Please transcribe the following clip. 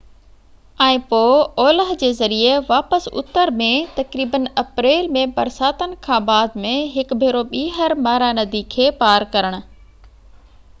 ۽ پوء اولهه جي ذريعي واپس اتر ۾ تقريبن اپريل ۾ برساتن کان بعد ۾ هڪ ڀيرو ٻيهر مارا ندي کي پار ڪرڻ